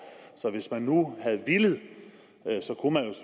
så hvis man nu havde villet